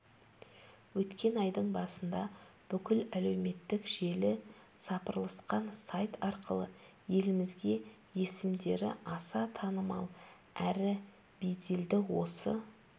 өткен айдың басында бүкіл әлеуметтік желі сапырылысқан сайт арқылы елімізге есімдері аса танымал әрі беделді осы